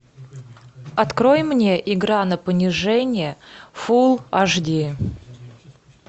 открой мне игра на понижение фул аш ди